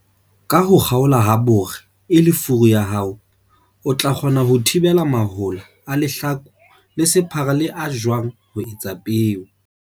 Ka ho kgaola habore e le furu ya hao, o tla kgona ho thibela mahola a lehlaku le sephara le a jwang ho etsa peo.